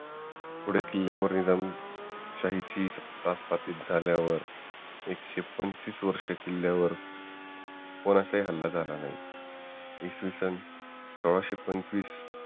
पुढे किल्ल्यावर निजाम शाही ची सत्ता प्रस्थापित झाल्यावर एकशे पंचवीस वर्षे किल्ल्यावर कोणाचाही हल्ला झाला नाही इसवीसन सोळाशे पंचवीस